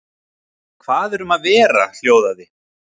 Hvað er um að vera hljóðaði